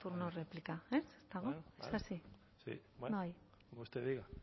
turno de réplica eh es así bueno como usted diga